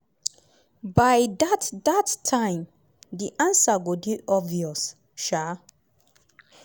by dat dat time di ansa go dey obvious. um